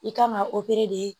I kan ka